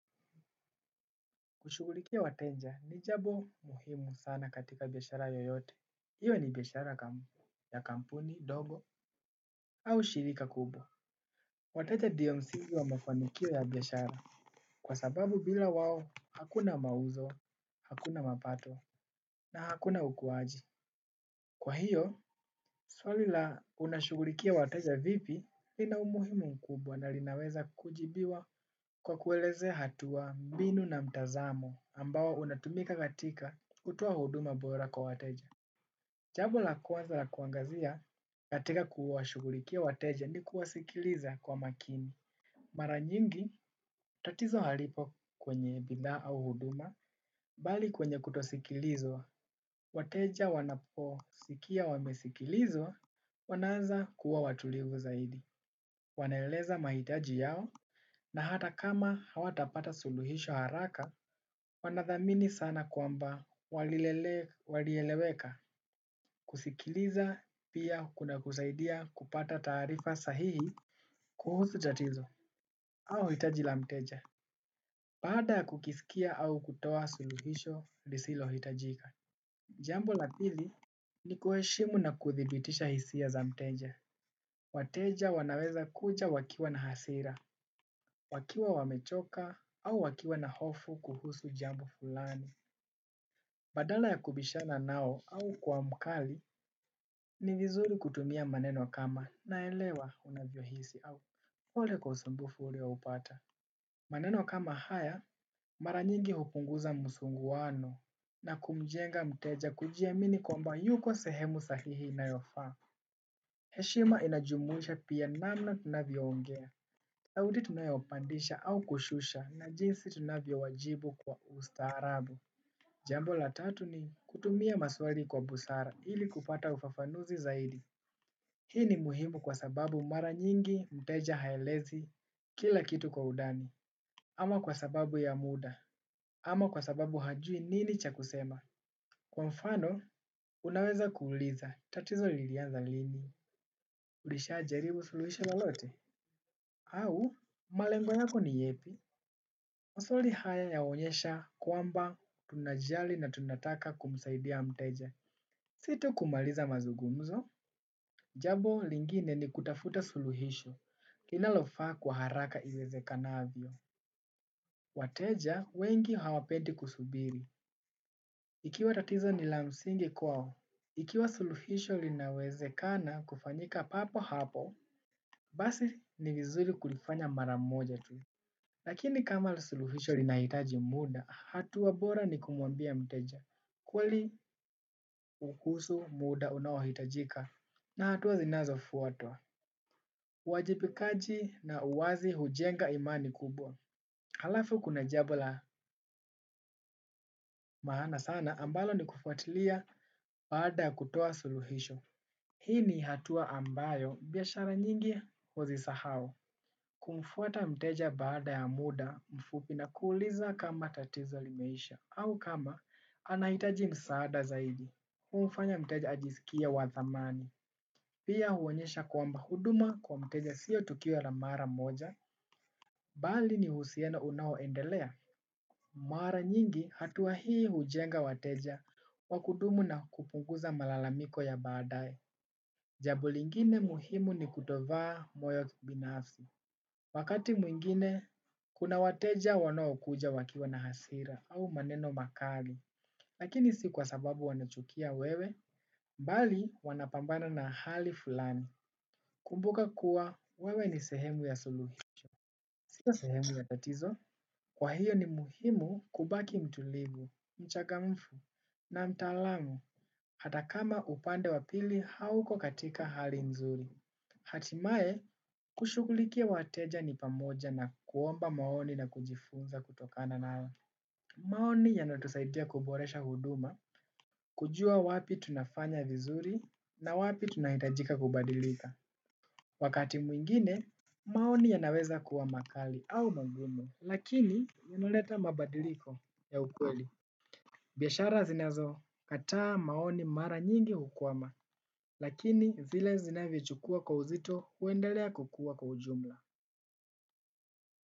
Kushughulikia wateja ni jambo muhimu sana katika biashara yoyote. Iwe ni biashara ya kampuni, dogo au shirika kubwa. Wateja ndio msingi wa mafanikio ya biashara kwa sababu bila wao hakuna mauzo, hakuna mapato na hakuna ukuwaji. Kwa hiyo, swali la unashugulikia wateja vipi lina umuhimu mkubwa na linaweza kujibiwa kwa kueleze hatua, mbinu na mtazamo ambao unatumika katika kutoa huduma bora kwa wateja. Jambo la kwanza la kuangazia katika kuwashugulikia wateja ni kuwasikiliza kwa makini. Mara nyingi tatizo halipo kwenye bidhaa au huduma bali kwenye kutosikilizwa. Wateja wanaposikia wamesikilizwa wanawezakua watulivu zaidi. Wanaeleza mahitaji yao na hata kama hawatapata suluhisho haraka, wanathamini sana kwamba walieleweka kusikiliza pia kunakusaidia kupata taarifa sahihi kuhusu tatizo au hitaji la mteja. Baada kukisikia au kutoa suluhisho, lisilohitajika. Jambo la pili ni kuheshimu na kuthibitisha hisia za mteja. Wateja wanawezakuja wakiwa na hasira, wakiwa wamechoka au wakiwa na hofu kuhusu jambo fulani. Badala ya kubishana nao au kua mkali ni vizuri kutumia maneno kama naelewa unavyohisi au pole kwa usumbufu ulioupata. Maneno kama haya mara nyingi hupunguza msuguano na kumjenga mteja kujiamini kwamba yuko sehemu sahihi inayofaa. Heshima inajumuhisha pia namna tunavyoongea. Nauli tunayopandisha au kushusha na jinsi tunavyowajibu kwa ustaarabu. Jambo la tatu ni kutumia maswali kwa busara ili kupata ufafanuzi zaidi. Hii ni muhimu kwa sababu mara nyingi mteja haelezi kila kitu kwa undani ama kwa sababu ya muda, ama kwa sababu hajui nini cha kusema. Kwa mfano, unaweza kuuliza, tatizo lilianza lini, ulishajaribu suluhisho lolote au, malengo yako ni yepi? Maswali haya yaonyesha kwamba tunajali na tunataka kumsaidia mteja si tu kumaliza mazungumzo jambo lingine ni kutafta suluhisho linalofaa kwa haraka iwezekanavyo. Wateja, wengi hawapendi kusubiri. Ikiwa tatizo ni la msingi kwao, ikiwa suluhisho linawezekana kufanyika papo hapo, basi ni vizuri kulifanya maramoja tu. Lakini kama suluhisho lina hitaji muda, hatua bora ni kumwambia mteja. Kweli ukuhusu muda unaohitajika na hatua zinazofuatwa. Uwajipikaji na uwazi hujenga imani kubwa. Halafu kuna jambo la maana sana ambalo ni kufuatilia baada kutoa suluhisho. Hii ni hatuwa ambayo biashara nyingi huzisahao. Kumfuata mteja baada ya muda mfupi na kuuliza kama tatizo limeisha au kama anahitaji msaada zaidi. Humfanya mteja ajisikie wa thamani. Pia huonyesha kwamba huduma kwa mteja sio tukio la mara moja. Bali ni uhusiano unaoendelea. Mara nyingi hatua hii hujenga wateja wa kudumu na kupunguza malalamiko ya baadaye. Jambo lingine muhimu ni kutovaa moyo binafsi. Wakati mwingine kuna wateja wanaokuja wakiwa na hasira au maneno makali lakini si kwa sababu wanachukia wewe, bali wanapambana na hali fulani. Kumbuka kuwa, wewe ni sehemu ya suluhisho. Kua sehemu ya tatizo, kwa hiyo ni muhimu kubaki mtulivu, mchagamfu na mtaalamu. Ata kama upande wa pili hauko katika hali nzuri. Hatimaye, kushugulikia wateja ni pamoja na kuomba maoni na kujifunza kutokana na nalo. Maoni yanatusaidia kuboresha huduma, kujua wapi tunafanya vizuri na wapi tunahitajika kubadilika. Wakati mwingine, maoni yanaweza kuwa makali au magumu, lakini yanaleta mabadiliko ya ukweli. Biashara zinazokataa maoni mara nyingi hukwama, lakini zile zinavyochukua kwa uzito huendelea kukua kwa ujumla.